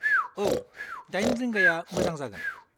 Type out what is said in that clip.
औ, दाइन रिंगाया मोजां जागोन।